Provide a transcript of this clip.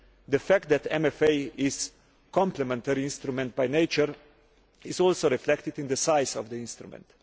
The fact that MFA is a complementary instrument by nature is also reflected in the size of the instrument.